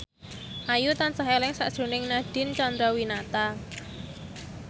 Ayu tansah eling sakjroning Nadine Chandrawinata